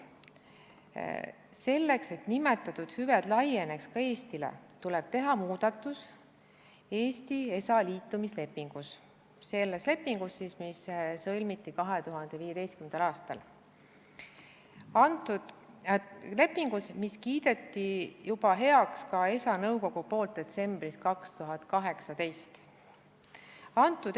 Selleks, et nimetatud hüved laieneksid ka Eestile, tuleb teha muudatus Eesti ESA-ga liitumise lepingus, selles lepingus, mis sõlmiti 2015. aastal, lepingus, mille ESA nõukogu kiitis heaks detsembris 2018.